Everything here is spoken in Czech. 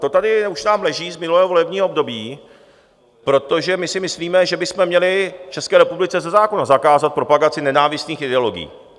To tady už nám leží z minulého volebního období, protože my si myslíme, že bychom měli v České republice ze zákona zakázat propagaci nenávistných ideologií.